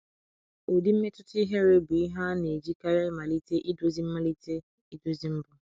Ụdị mmetụta ihere bụ ihe a na-ejikarị malite idozi malite idozi mbụ.